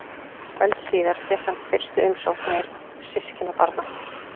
Öld síðar fékk hann fyrstu umsóknir systkinabarna.